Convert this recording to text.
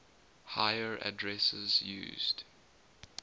higher addresses used